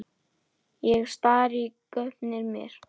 Ég stari í gaupnir mér.